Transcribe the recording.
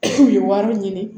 K'u ye wari ɲini